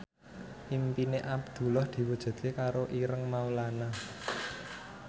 impine Abdullah diwujudke karo Ireng Maulana